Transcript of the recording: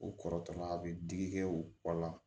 O kɔrɔ tɔgɔ la a bɛ digi kɛ u kɔ la